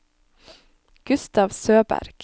Gustav Søberg